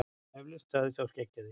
Eflaust, sagði sá skeggjaði.